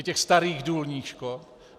I těch starých důlních škod.